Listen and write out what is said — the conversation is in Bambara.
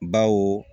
Bawo